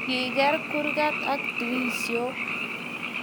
Kiger kurget ak dirishok